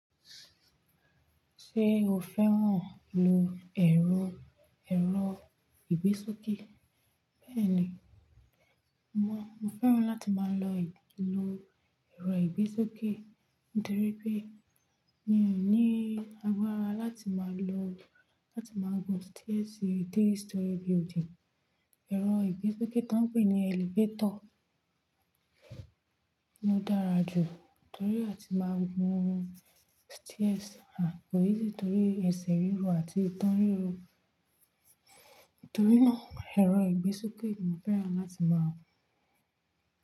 Ṣé o fẹ́ràn lo ẹ̀rọ, ẹ̀rọ ìgbésókè? Bẹ́ẹ̀ni, mo, mo fẹ́ràn láti máa lo lo ẹ̀rọ ìgbésókè nítorí pé mi ò ní agbára láti máa lo, láti máa gùn àtẹ̀gùn ilé olórí mẹ́ta. Ẹ̀rọ ìgbésókè tí wọ́n ń pè ní elevator ló dára jù, torí a ti máa ń gun àtẹ̀gùn hm, kò rọrùn nítorí ẹsẹ̀ ríro àti ìtàn ríro. Nítorí náà ẹ̀rọ ìgbésókè mo fẹ́ràn láti máa lo.